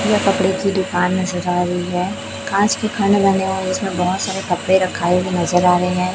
यह कपड़े किसी दुकान नजर आ रही हैं कच की खाने वाले इसमें बहोत सारे कपड़े रखाए नजर आ रहे है।